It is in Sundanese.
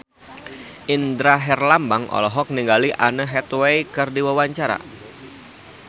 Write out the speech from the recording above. Indra Herlambang olohok ningali Anne Hathaway keur diwawancara